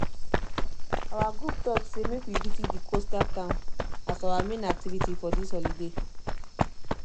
our group talk say make we visit the coastal town as our main activity for this holiday